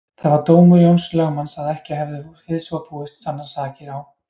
Það var dómur Jóns lögmanns að ekki hefðu við svo búið sannast sakir á